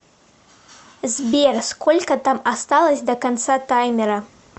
сбер сколько там осталось до конца таймера